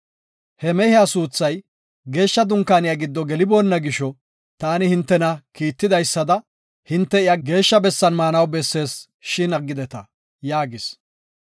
He mehiya suuthay geeshsha Dunkaaniya giddo geliboonna gisho, taani hintena kiitidaysada, hinte iya geeshsha bessan maanaw bessees, shin aggideta” yaagis.